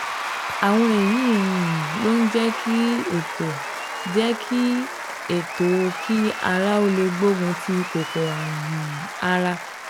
Àwọn èyí um ló ń jẹ́ kí ètò jẹ́ kí ètò òkí ara ó lè gbógun ti kòkòrò ààrùn um ara